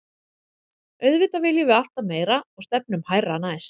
Auðvitað viljum við alltaf meira og stefnum hærra næst.